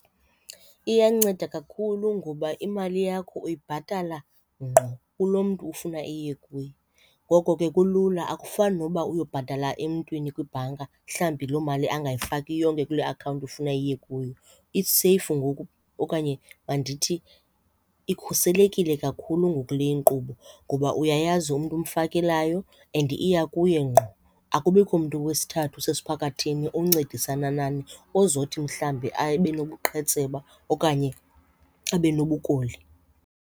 Iyanceda kakhulu ngoba imali yakho uyibhatala ngqo kulo mntu ufuna iye kuye. Ngoko ke kulula, akufani noba uyobhatala emntwini kwibhanka mhlawumbi loo mali angayifaki yonke kule akhawunti ufuna iye kuyo. Iseyifu ngoku okanye mandithi ikhuselekile kakhulu ngoku le inkqubo ngoba uyayazi umntu omfakelayo and iya kuye ngqo, akubikho mntu wesithathu usesiphakathini oncedisana nani ozothi mhlambi abe nobuqhetseba okanye abe nobukoli.